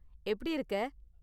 எப்படி இருக்க?